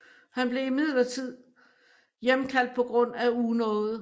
Her blev imidlertid hjemkaldt på grund af unåde